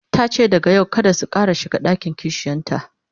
tace daga yau kada su Ƙara shiga ɗakin kishiyanta